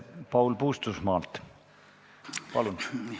Paul Puustusmaa, palun!